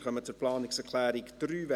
Wir kommen zur Planungserklärung 3: